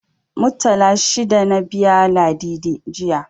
Muttala shida na biya Ladidi, jiya.